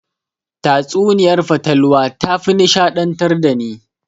Tatsuniyar fatalwa tafi nishaɗantar dani.